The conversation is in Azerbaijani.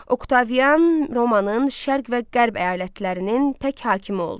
Oktavian Romanın şərq və qərb əyalətlərinin tək hakimi oldu.